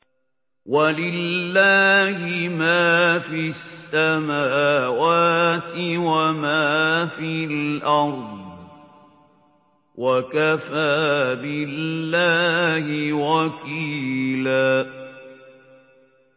وَلِلَّهِ مَا فِي السَّمَاوَاتِ وَمَا فِي الْأَرْضِ ۚ وَكَفَىٰ بِاللَّهِ وَكِيلًا